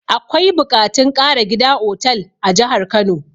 Akwai buƙatun ƙara gida otal a jahar kano